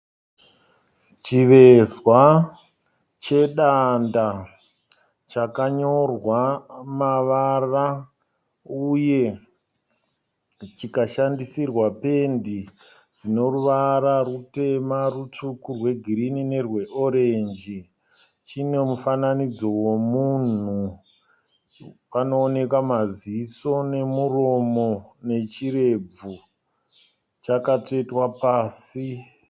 Chivezva chedanda chakanyorwa mavara uye chikashandisirwa pendi dzinoruvara rutema, rutsvuku, rwegirini nerweoranji. Chine mufananidzo womunhu. Panoonekwa maziso, nemuromo nechirebvu. Chakatsvetwa pasi.